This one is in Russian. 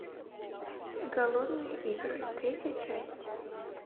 голодные игры третья часть